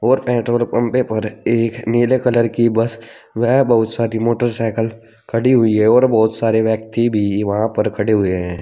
और पेट्रोल पंपे पर एक नीले कलर की बस व बहुत सारी मोटरसाइकल खड़ी हुई है और बहुत सारे व्यक्ति भी वहां पर खड़े हुए हैं।